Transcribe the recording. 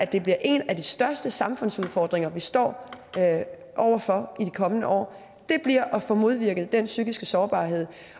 det bliver en af de største samfundsudfordringer vi stå over for i de kommende år det bliver at få modvirket den psykiske sårbarhed